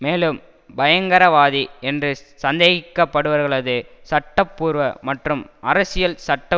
மேலும் பயங்கரவாதி என்று சந்தேகிக்க படுபவர்களது சட்டப்பூர்வ மற்றும் அரசியல் சட்ட